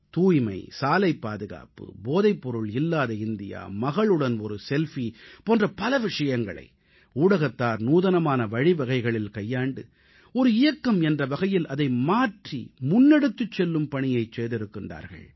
தூய்மை சாலைப் பாதுகாப்பு போதைப்பொருள் இல்லாத இந்தியா மகளுடன் ஒரு செல்ஃபி போன்ற பல விஷயங்களை ஊடகத்தார் நூதனமான வழிவகைகளில் கையாண்டு ஒரு இயக்கம் என்ற வகையில் அதை மாற்றி முன்னெடுத்துச் செல்லும் பணியைச் செய்திருக்கிறார்கள்